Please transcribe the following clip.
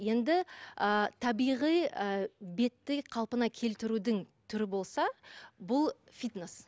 енді ы табиғи ы бетті қалпына келтірудің түрі болса бұл фитнес